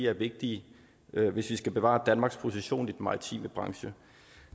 er vigtige hvis vi skal bevare danmarks position i maritime branche